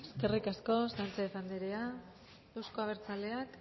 eskerrik asko sanchez andrea euzko abertzaleak